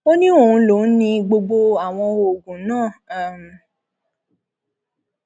um ó ní òun lòún ni gbogbo àwọn oògùn náà um